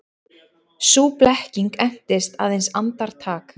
Sú blekking entist aðeins andartak.